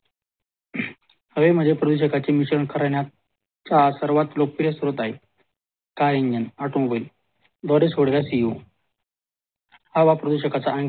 हवेमध्ये प्रदूषकाची मिश्रणे खरे राहण्याचा लोकप्रिय स्रोत आहे car engine automobile हवा प्रदूषकाचा आणखी एक